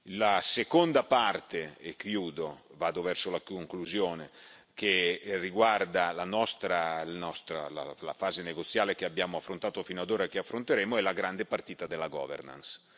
La seconda parte e chiudo, vado verso la conclusione che riguarda la fase negoziale che abbiamo affrontato finora, e che affronteremo, è la grande partita della governance.